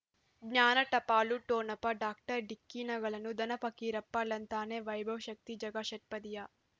ಜ್ಞಾನ ಟಪಾಲು ಠೊಣಪ ಡಾಕ್ಟರ್ ಢಿಕ್ಕಿ ಣಗಳನು ಧನ ಫಕೀರಪ್ಪ ಳಂತಾನೆ ವೈಭವ್ ಶಕ್ತಿ ಝಗಾ ಷಟ್ಪದಿಯ